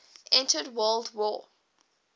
entered world war